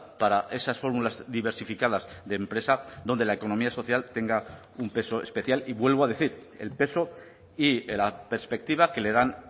para esas fórmulas diversificadas de empresa donde la economía social tenga un peso especial y vuelvo a decir el peso y la perspectiva que le dan